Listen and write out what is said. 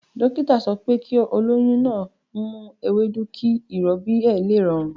Dókítà sọ pé kí olóyún náà ń mu ewédú kí ìrọbí ó lè rọrùn